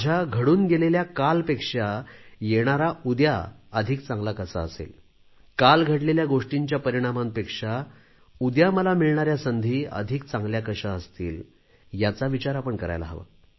माझ्या घडून गेलेल्या कालपेक्षा येणारा उद्या अधिक चांगला कसा असेल काल घडलेल्या गोष्टींच्या परिणामांपेक्षा उद्या मला मिळणाऱ्या संधी अधिक चांगल्या कशा असतील याचा विचार आपण करायला हवा